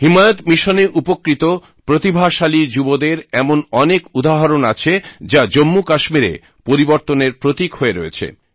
হিমায়ত মিশনে উপকৃত প্রতিভাশালী যুবদের এমন অনেক উদাহরণ আছে যা জম্মু কাশ্মীরে পরিবর্তনের প্রতীক হয়ে রয়েছে